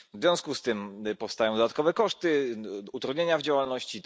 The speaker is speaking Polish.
W związku z tym powstają dodatkowe koszty, utrudnienia w działalności.